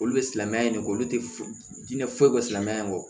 Olu bɛ silamɛya in de kɛ olu tɛ foyi di ne foyi ko silamɛya in kɔ